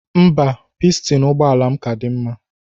Mba, pistin ụgbọala m ka dị mma